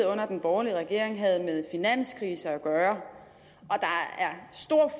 under den borgerlige regering havde med finanskrise at gøre